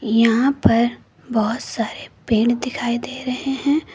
यहां पर बहोत सारे पेड़ दिखाई दे रहे हैं।